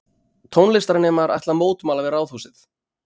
Tónlistarnemar ætla að mótmæla við Ráðhúsið